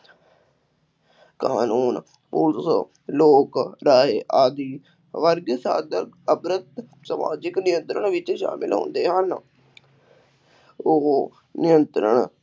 ਕਾਨੂੰਨ, ਪੁਲਿਸ, ਲੋਕ, ਆਦਿ ਸਮਾਜਿਕ ਨਿਯੰਤਰਣ ਵਿੱਚ ਸ਼ਾਮਿਲ ਹੁੰਦੇ ਹਨ ਉਹ ਨਿਯੰਤਰਣ